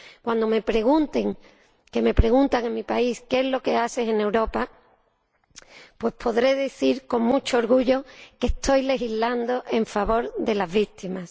Cuando me pregunten —como me preguntan en mi país— qué es lo que hago en Europa, podré decir, con mucho orgullo, que estoy legislando en favor de las víctimas.